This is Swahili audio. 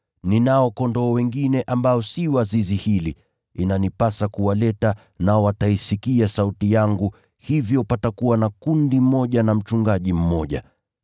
Ninao kondoo wengine ambao si wa zizi hili, inanipasa kuwaleta, nao wataisikia sauti yangu, hivyo patakuwa na kundi moja na mchungaji mmoja.